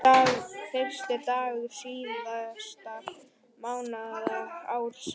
Fyrsti dagur síðasta mánaðar ársins.